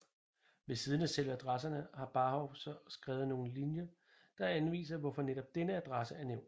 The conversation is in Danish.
Ved siden af selve adresserne har Barhow så skrevet nogle linjer der anviser hvorfor netop denne adresse er nævnt